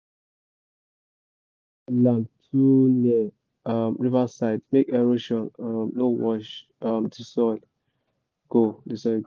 um river side make erosion um no wash um the soil go the soil